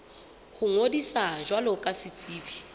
ho ngodisa jwalo ka setsebi